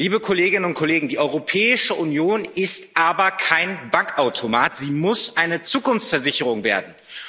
Liebe Kolleginnen und Kollegen, die Europäische Union ist aber kein Bankautomat, sie muss eine Zukunftsversicherung werden.